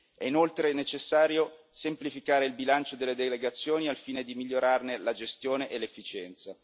È inoltre necessario semplificare il bilancio delle delegazioni al fine di migliorarne la gestione e l'efficienza.